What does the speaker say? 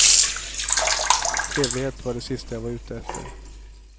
Trevlighet var det sista jag var ute efter.